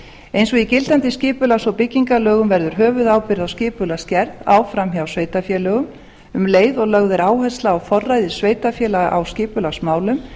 eins og í gildandi skipulags og byggingarlögum verður höfuðábyrgð á skipulagsgerð áfram hjá sveitarfélögum um leið og lögð er áhersla á forræði sveitarfélaga á skipulagsmálum